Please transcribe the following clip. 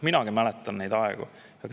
Minagi mäletan neid aegu.